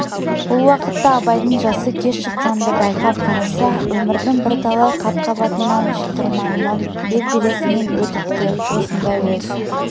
бұл уақытта абайдың жасы ке шыққан-ды байқап қараса өмірдің бірталай қат-қабатынан шытырманынан бел-белесінен өтіпті осындай өз